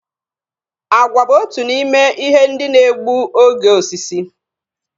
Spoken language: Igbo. Àgwà bu otu n'ime ihe ndị na-egbu oge osisi